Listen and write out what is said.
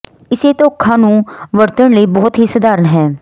ਇਸੇ ਧੋਖਾ ਨੂੰ ਵਰਤਣ ਲਈ ਬਹੁਤ ਹੀ ਸਧਾਰਨ ਹੈ